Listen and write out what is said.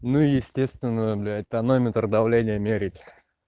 ну естественно блять тонометр давление мерить